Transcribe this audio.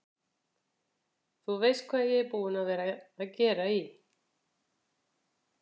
Þú veist hvað ég er búinn að vera að gera í.